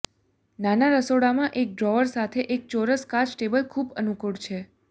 નાના રસોડામાં એક ડ્રોઅર સાથે એક ચોરસ કાચ ટેબલ ખૂબ અનુકૂળ છે